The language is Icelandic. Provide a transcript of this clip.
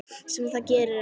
Sem það gerir ekki.